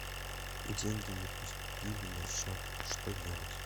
деньги не поступили на счет что делать